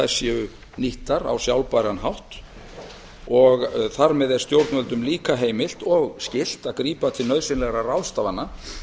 séu nýttar á sjálfbæran hátt þar með er stjórnvöldum líka heimilt og skylt að grípa til nauðsynlegra ráðstafana